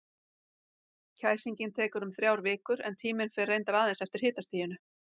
Kæsingin tekur um þrjár vikur, en tíminn fer reyndar aðeins eftir hitastiginu.